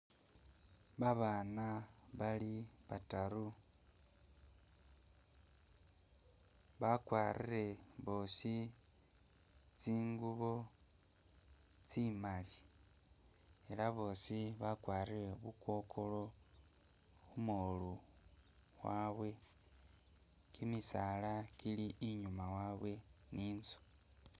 Babaana bali bataru bakwarire boosi tsingubo tsimali ela boosi bakwarire bukokolo khumolu khwabwe kimisaala kili inyuma wabwe ne itsu